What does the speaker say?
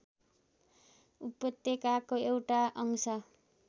उपत्यकाको एउटा अंश